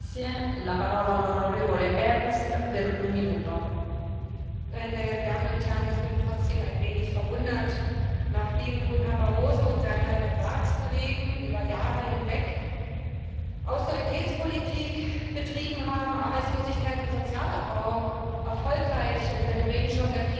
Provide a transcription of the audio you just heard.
Frau Präsidentin, meine Damen und Herren! Ich bin trotzdem ein wenig verwundert. Nachdem nun Herr Barroso und seine Ratskollegen über Jahre hinweg Austeritätspolitik betrieben haben, Arbeitslosigkeit und Sozialabbau erfolgreich unter dem Regenschirm der Krise forciert haben, werden jetzt Arbeitslose entdeckt.